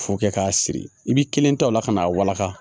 Fo kɛ k'a siri i b'i kelen ta o la ka n'a walangaka